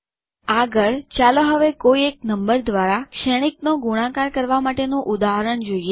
આગળ ચાલો હવે કોઈ એક નંબર દ્વારા શ્રેણિકનો ગુણાકાર કરવા માટેનું ઉદાહરણ જોઈએ